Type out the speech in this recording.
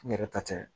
N yɛrɛ ta tɛ